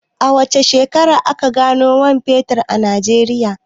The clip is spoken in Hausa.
A wace shekara aka gano man fetur a Najeriya?